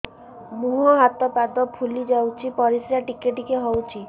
ମୁହଁ ହାତ ପାଦ ଫୁଲି ଯାଉଛି ପରିସ୍ରା ଟିକେ ଟିକେ ହଉଛି